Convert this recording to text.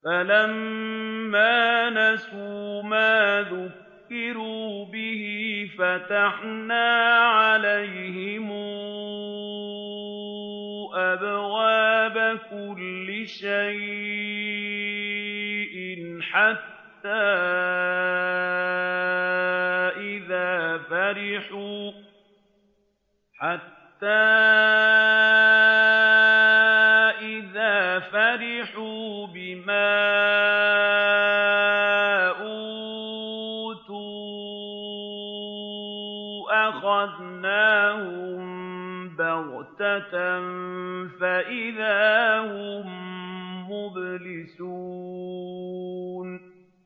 فَلَمَّا نَسُوا مَا ذُكِّرُوا بِهِ فَتَحْنَا عَلَيْهِمْ أَبْوَابَ كُلِّ شَيْءٍ حَتَّىٰ إِذَا فَرِحُوا بِمَا أُوتُوا أَخَذْنَاهُم بَغْتَةً فَإِذَا هُم مُّبْلِسُونَ